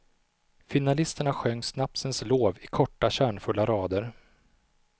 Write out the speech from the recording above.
Finalisterna sjöng snapsens lov i korta, kärnfulla rader.